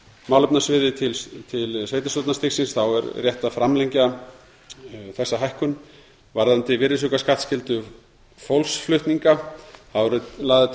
málefnasviði til sveitarstjórnarstigsins er rétt að framlengja þessa hækkun varðandi virðisaukaskattsskyldu fólksflutninga eru lagðar til